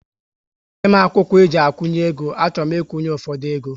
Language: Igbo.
Nye m akwụkwọ eji akwunye égo, a chọrọ m ikwunye ụfọdụ égo